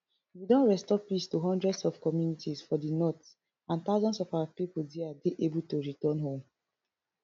we don restore peace to hundreds of communities for di north and thousands of our pipo deo dey able to return home